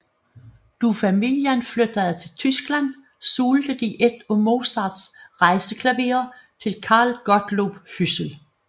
Da familien flyttede til Tyskland solgte de et af Mozarts rejseklaverer til Carl Gottlob Füssel